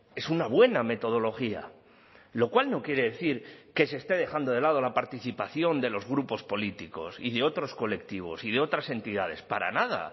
es una buena metodología lo cual no quiere decir que se esté dejando de lado la participación de los grupos políticos y de otros colectivos y de otras entidades para nada